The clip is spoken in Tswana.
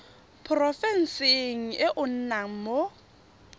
porofenseng e o nnang mo